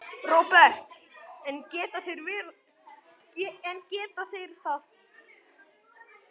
Róbert: En geta þeir það?